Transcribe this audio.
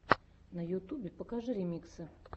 на ютубе покажи ремиксы